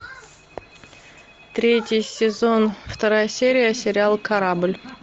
третий сезон вторая серия сериал корабль